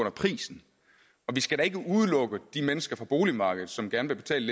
af prisen og vi skal da ikke udelukke de mennesker fra boligmarkedet som gerne vil betale